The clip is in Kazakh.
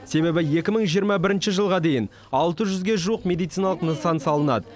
себебі екі мың жиырма бірінші жылға дейін алты жүзге жуық медициналық нысан салынады